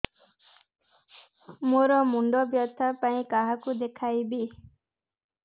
ମୋର ମୁଣ୍ଡ ବ୍ୟଥା ପାଇଁ କାହାକୁ ଦେଖେଇବି